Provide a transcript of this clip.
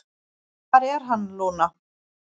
"""Hvar er hann, Lúna?"""